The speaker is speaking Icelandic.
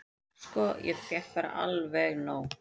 """Sko, ég fékk bara alveg nóg."""